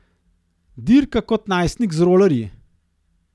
Dirka kot najstnik z rolerji?